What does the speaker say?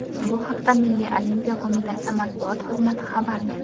Bu haqda Milliy olimpiya qo‘mitasi matbuot xizmati xabar berdi .